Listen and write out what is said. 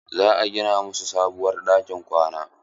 Za a gina mana sabuwar ɗakin kwana.